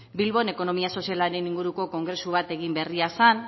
bilbon ekonomia sozialaren inguruko kongresu bat egin berria zen